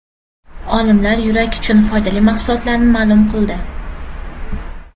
Olimlar yurak uchun foydali mahsulotlarni ma’lum qildi.